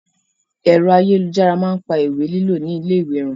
Ẹ̀rọ ayélujára máa pa ìwé lílo ni ilé ìwé run.